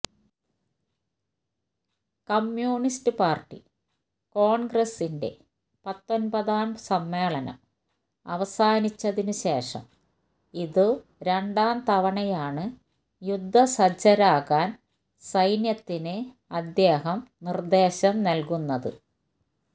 communist party കോണ്ഗ്രസിന്റെ പത്തൊന്പതാം സമ്മേളനം അവസാനിച്ചതിനു ശേഷം ഇതു രണ്ടാം തവണയാണ് യുദ്ധസജ്ജരാകാന് സൈന്യത്തിന് അദ്ദേഹം നിര്ദ്ദേശം നല്കുന്നത്